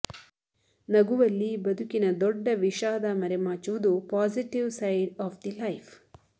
ನಗುವಲ್ಲಿ ಬದುಕಿನ ದೊಡ್ಡ ವಿಷಾದ ಮರೆಮಾಚುವುದು positive side of the life